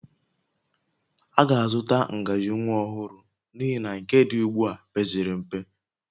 A ga-azụta ngaji nwa ọhụrụ n'ihi na nke dị ugbu a pezịrị mpe